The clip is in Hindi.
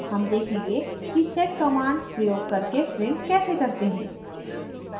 हम देखेंगे कि sed command प्रयोग करके print कैसे करते हैं